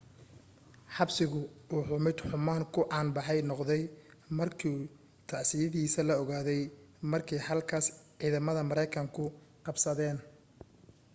xabsigu wuxuu mid xumaan ku caan baxay noqday markii tacadiyadiisii la ogaaday markii halkaas ciidamada maraykanku qabsadeen